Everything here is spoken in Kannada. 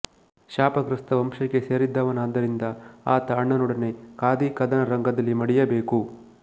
ಶಾಪಗ್ರಸ್ತ ವಂಶಕ್ಕೆ ಸೇರಿದವನಾದ್ದರಿಂದ ಆತ ಅಣ್ಣನೊಡನೆ ಕಾದಿ ಕದನ ರಂಗದಲ್ಲಿ ಮಡಿಯಬೇಕು